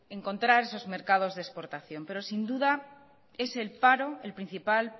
encontrar esos mercados de exportación pero sin duda es el paro el principal